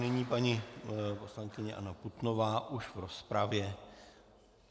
Nyní paní poslankyně Anna Putnová už v rozpravě.